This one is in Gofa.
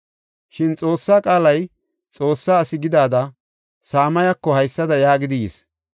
Shin Xoossa qaalay Xoossa asi gidida Samayeko haysada yaagidi yis.